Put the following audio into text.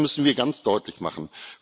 Das müssen wir ganz deutlich machen.